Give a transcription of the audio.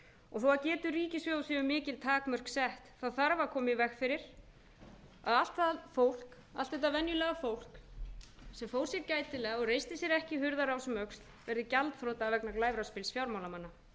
og þó getu ríkissjóðs séu mikil takmörk sett þarf að koma í veg fyrir að allt þetta venjulega fólk sem fór sér gætilega og greinir sér ekki hurðarás um öxl verði gjaldþrota vegna glæfraspils fjármálamanna það hefur